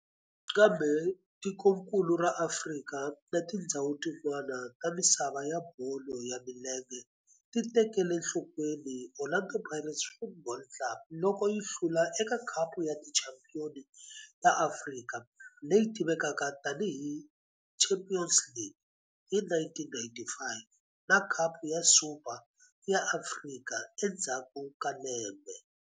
Kambe tikonkulu ra Afrika na tindzhawu tin'wana ta misava ya bolo ya milenge ti tekele enhlokweni Orlando Pirates Football Club loko yi hlula eka Khapu ya Tichampion ta Afrika, leyi tivekaka tani hi Champions League, hi 1995 na Khapu ya Super ya Afrika endzhaku ka lembe.